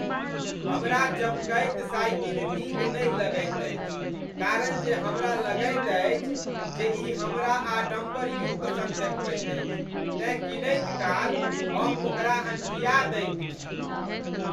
हमरा चमकैत साइकिल नीक नहि लगैत अछि कारण जे हमरा लगैत अछि जे ई हमरा आडम्बर युक्त सन देखबैत अछि, तेँ कीनैत काल हम ओकरा अनठिया दैत छी।